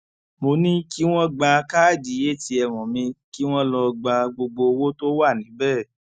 mo ní kí wọn gba káàdì atm mi kí wọn lọọ gba gbogbo owó tó wà níbẹ